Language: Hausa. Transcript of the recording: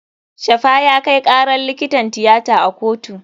Shafa ya kai karar likitan tiyata a kotu.